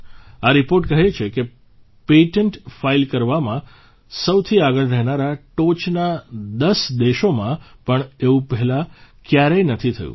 આ રીપોર્ટ કહે છે કે પેટન્ટ ફાઇલ કરવામાં સૌથી આગળ રહેનારા ટોચના ૧૦ દેશોમાં પણ આવું પહેલાં કયારેય નથી થયું